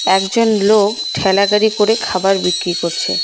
একজন লোক ঠেলা গাড়ি করে খাবার বিক্রি করছে।